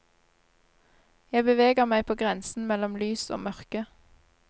Jeg beveger meg på grensen mellom lys og mørke.